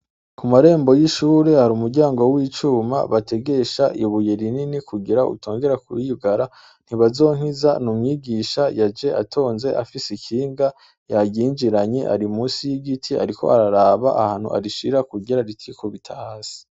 Ku marembo y' ishure hari umuryango w' icuma bategesha ibuye rinini kugira utongera kwiyugara NTIBAZONKIZA ni umwigisha yaje atonze afise ikinga yaryinjiranye ari musi y' igiti ariko araraba ahantu arishira kugira ritikubita hasi.